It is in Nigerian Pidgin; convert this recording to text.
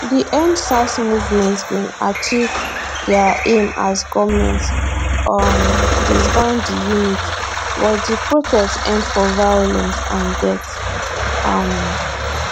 di endsars movement bin achieve dia aim as goment um disband di unit but di protest end for violence and deaths um